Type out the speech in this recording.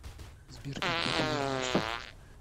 сбер когда ты вернешься